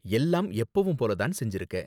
எல்லாம் எப்பவும் போல தான செஞ்சுருக்க.